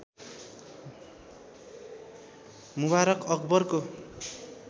मुबारक अकबरको